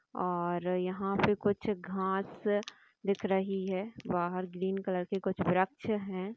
और यहाॅं पे कुछ घास दिख रही है| बाहर ग्रीन कलर के कुछ व्रक्ष हैं।